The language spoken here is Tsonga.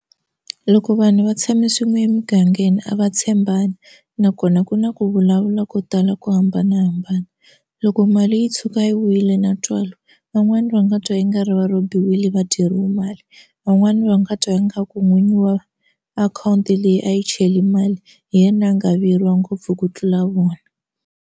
Loko vanhu va tshame swin'we emugangeni a va tshembani nakona ku na ku vulavula ko tala ku hambanahambana loko mali yi tshuka yi wile na ntswalo van'wana va nga twa i nga ri va rambiwile va dyeriwe mali van'wani va nga twa ingaku n'winyi wa akhawunti leyi a yi chele mali hi yena a nga vuyeriwa ngopfu ku tlula vona.